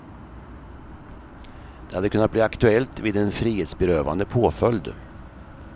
Det hade kunnat bli aktuellt vid en frihetsberövande påföljd.